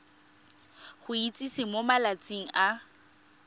go itsise mo malatsing a